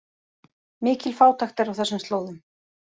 Mikil fátækt er á þessum slóðum